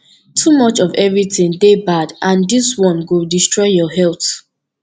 too much of everything dey bad and dis one go destroy your health